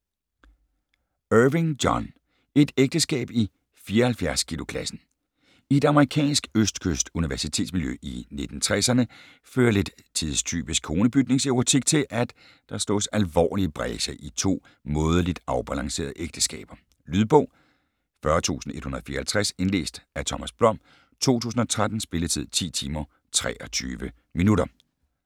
Irving, John: Et ægteskab i 74 kilo klassen I et amerikansk østkyst-universitetsmiljø i 1960'erne fører lidt tidstypisk konebytningserotik til, at der slås alvorligere brecher i to mådeligt afbalancerede ægteskaber. Lydbog 40154 Indlæst af Thomas Blom, 2013. Spilletid: 10 timer, 23 minutter.